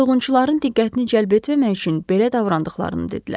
Soyğunçuların diqqətini cəlb etməmək üçün belə davrandıqlarını dedilər.